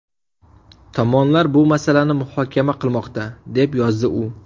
Tomonlar bu masalani muhokama qilmoqda”, deb yozdi u.